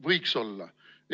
Võiks olla!